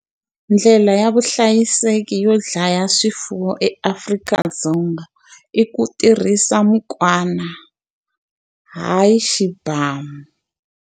Ndlela ya vuhlayiseki yo dlaya swifuwo eAfrika-Dzonga i ku tirhisa mukwana, hayi xibhamu.